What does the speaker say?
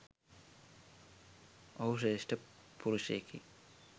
ඔහු ශ්‍රේෂ්ඨ පුරුෂයෙකි.